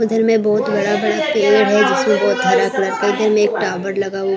उधर में बहुत बड़ा बड़ा पेड़ है जिसमें बहुत हरा कलर में एक टावर लगा हुआ--